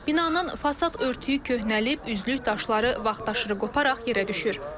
Binanın fasad örtüyü köhnəlib, üzlük daşları vaxtaşırı qoparaq yerə düşür.